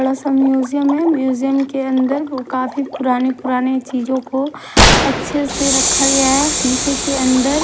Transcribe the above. बड़ा सा म्यूजियम है म्यूजियम के अंदर काफी पुरानी पुरानी चीजों को अच्छे से रखा गया है शीशे के अंदर--